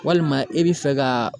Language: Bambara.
Walima e bi fɛ ka